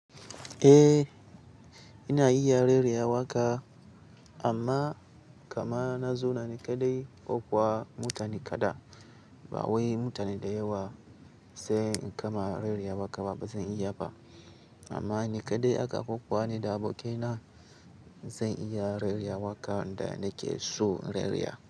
Eh ina iya rera waka amma kamana zona ni kaɗai ko kuwa mutane kaɗan. Ba wai mutane da yawa sai in kama rera waka ba zan iya ba. Amma ni kaɗai aka karɓo ko ni da abokaina zan iya rera wakan da nake so in rera.